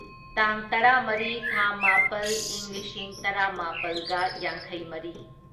ꯇꯥꯡ ꯇꯔꯥꯃꯔꯤ ꯊꯥ ꯃꯥꯄꯜ ꯢꯪ ꯂꯤꯁꯤꯡ ꯇꯔꯥꯃꯥꯄꯜꯒ ꯌꯥꯡꯈꯩꯃꯔꯤ